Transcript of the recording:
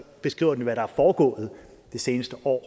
beskriver hvad der er foregået det seneste år